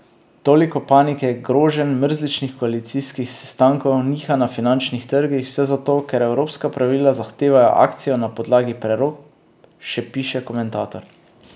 Toliko panike, groženj, mrzličnih koalicijskih sestankov, nihanj na finančnih trgih, vse zato, ker evropska pravila zahtevajo akcijo na podlagi prerokb, še piše komentator.